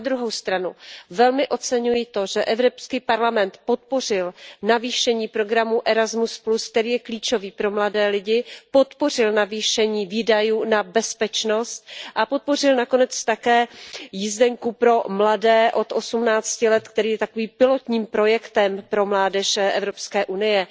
Na druhou stranu velmi oceňuji to, že Evropský parlament podpořil navýšení programu Erasmus, který je klíčový pro mladé lidi, podpořil navýšení výdajů na bezpečnost a podpořil nakonec také jízdenku pro mladé od osmnácti let, která je takovým pilotním programem pro mládež Evropské unie.